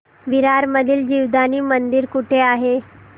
विरार मधील जीवदानी मंदिर कुठे आहे